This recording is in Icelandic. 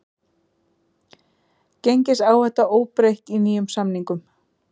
Gengisáhætta óbreytt í nýjum samningum